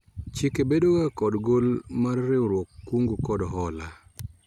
Chike bedo ga kod gol mar riwruog kungo kod hola